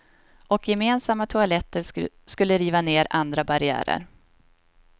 Och gemensamma toaletter skulle riva ner andra barriärer.